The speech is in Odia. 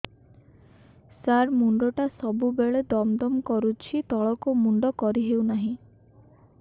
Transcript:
ସାର ମୁଣ୍ଡ ଟା ସବୁ ବେଳେ ଦମ ଦମ କରୁଛି ତଳକୁ ମୁଣ୍ଡ କରି ହେଉଛି ନାହିଁ